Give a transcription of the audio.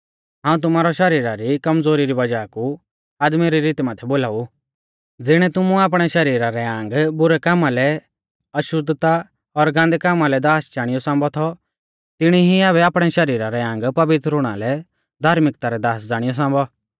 हाऊं तुमारै शरीरा री कमज़ोरी री वज़ाह कु आदमी री रीती माथै बोलाऊ ज़िणै तुमुऐ आपणै शरीरा रै आंग बुरै कामा लै अशुद्धता और गान्दै कामा लै दास ज़ाणियौ सांबौ थौ तिणी ई ऐबै आपणै शरीरा रै आंग पवित्र हुणा लै धार्मिक्ता रै दास ज़ाणियौ सांबौ